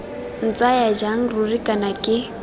ntsaya jang ruri kana ke